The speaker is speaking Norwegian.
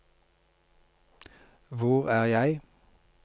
hvor er jeg